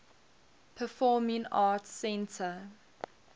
performing arts center